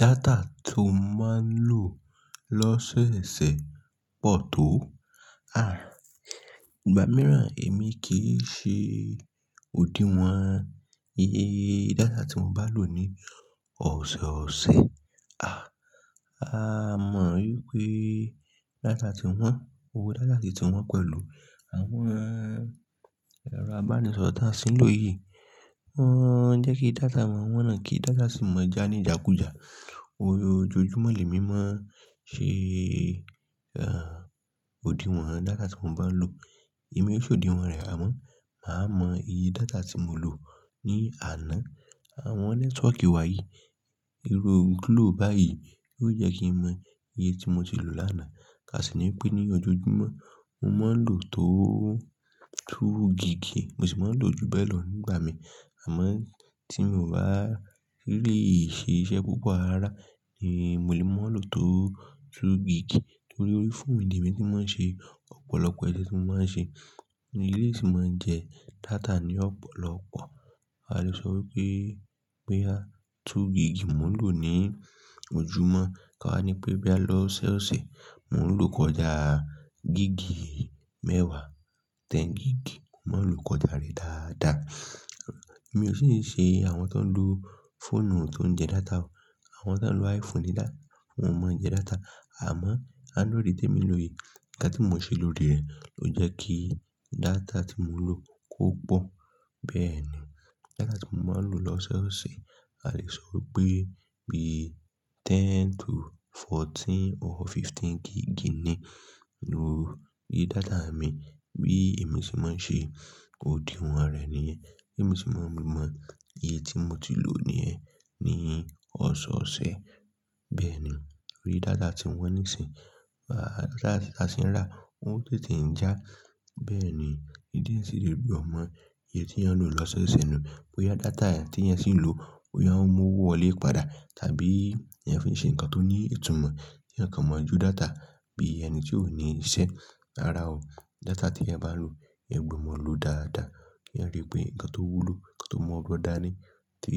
Data tó máa ń lò lọ́sẹ̀ẹsẹ̀ pọ̀ tó. À, ìgbà mìíràn èmi kì í ṣe òdiwọ́n iye data tí mo bá lò ní ọ̀sọ̀ọ̀sẹ̀. À, a mọ wípé data tí wọ́n, owó data tún ti wọ́n pẹ̀lú àwọn ẹ̀rọ abánisọ̀rọ̀ tí a sì ń lò yìí, wọ́n jẹ́ kí data máa wọ́n náà, kí data sì máa jà ní ìdákùjá. Ojoojúmọ́ lẹ̀ mi máa ṣe, à, òdiwọ́n data tí mo bá ń lò. Èmi ó ṣe òdiwọ́n rẹ̀, àmọ́ màá mọ iye data tí mo lò ní àná. Àwọn nẹ́tíwọ́kì wá yìí, irú glo báyìí yóò jẹ́ kí mo mọ iye tí mo ti lò lánàá. Ká sì ní pé ní ojoojúmọ́, mo máa ń lò tó two gigì, mo sì máa ń lò ju bẹ́ẹ̀ lọ nígbà mi. Àmọ́ tí mi ò bá rí iṣe ṣẹ́ púpọ̀ rará ni mo lè máa lò tó two gigì. Nítorí orí fóònù ni èmi tí máa ń ṣe ọ̀pọ̀lọpọ̀ iṣẹ́ tí mo máa ń ṣe. Ni o sì máa ń jẹ data ní ọ̀pọ̀lọpọ̀. A lè sọ wípé, pé bóyá two gigì ni mo ń lò ní ojúmọ́. Ká ní pé bí a lọ ọ̀sọ̀ọ̀sẹ̀, mò ń lò kọjá gigì mẹ́wàá, ten gigì, mò ń lò kọjá rẹ̀ dáadáa. Èmi ò sì ń ṣe àwọn tó ń lo fóònù tó ń jẹ data o. Àwọn tó ń lo iPhone ni, wọ́n mọ jẹ data. Àmọ́ android ti èmi ń lò yìí. Ǹkan tí mò ń ṣe lòrì rẹ̀ ló jẹ́ kí data tí mo lò kó pọ̀. Bẹ́ẹ̀ ni, data tí mò ń lò lọ́sẹ̀ọsẹ̀, a lè sọ wípé bí ten to fourteen or fifteen gigì ni lórí data mi. Bí èmi ṣe máa ń ṣe òdiwọ́n rẹ̀ nìyẹn. Bí èmi ṣe máa ń mọ iye tí mo ti lò níyẹn ní ọ̀sọ̀ọ̀sẹ̀. Bẹ́ẹ̀ ni, torí data ti wọ́n nísìnyí. À, data tí a sì ń rà, ó ń tètè ń jà. Bẹ́ẹ̀ ni, ìdí òun sì rèé tí èyàn gbọdọ̀ mọ iye tí èyàn ń lò lọ́sẹ̀ẹsẹ̀ nu. Bóyá data tí èyàn sì ń lò, bóyá òun mú owó wọlé padà, tàbí èyàn fi ń ṣe nǹkan tó ní ìtumọ̀ kí èyàn kan mọ̀ọ́ jo data. Bí ẹni tí ò ní iṣẹ́ rára o, data tí ẹ bá lò, ẹ gbọ́ mọ̀ọ́ lò dáadáa. Kí ẹ rí pé ǹkan tó wúlò, ǹkan tó mọ́ gbọn dáa ni, tí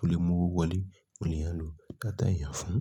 ó lè mú owó wọlé, òun lè yàn lò data èyàn fún.